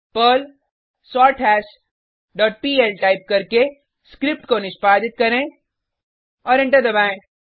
Perl सोरथाश dot PL type करके script को निष्पादित करें और एंटर दबाएँ